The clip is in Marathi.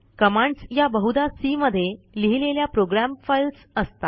कमांड्स या बहुदा सी मध्ये लिहिलेल्या प्रोग्राम फाईल्स असतात